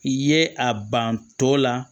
I ye a ban tɔ la